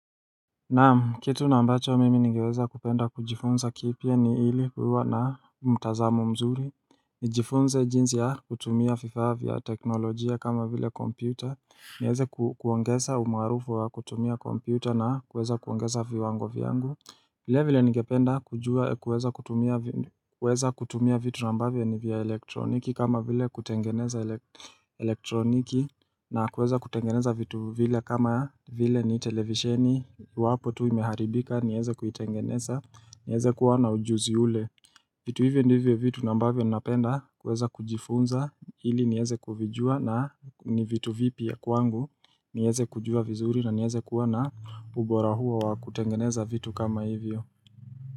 Naam, kitu na ambacho mimi ningeweza kupenda kujifunza kipya ni hili kuwa na mtazamo mzuri nijifunze jinsi ya kutumia vifaa vya teknolojia kama vile kompyuta nieze kuongeza umaarufu wa kutumia kompyuta na kuweza kuongeza viwango vyangu vile vile ningependa kujua kuweza kutumia vitu na ambavyo ni vya elektroniki kama vile kutengeneza elektroniki na kuweza kutengeneza vitu vile kama vile ni televisheni iwapo tu imeharibika, nieze kuitengeneza nieze kuwa na ujuzi ule vitu hivyo ndivyo vitu na ambavyo napenda kuweza kujifunza, ili nieze kuvijua na ni vitu vipi ya kwangu nieze kujua vizuri na nieze kuwa na ubora huo wa kutengeneza vitu kama hivyo.